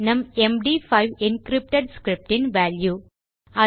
நம் MD five encrypted script இன் value